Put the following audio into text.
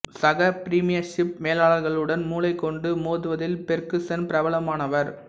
சக பிரீமியர்ஷிப் மேலாளர்களுடன் மூளை கொண்டு மோதுவதில் பெர்குசன் பிரபலமானவர்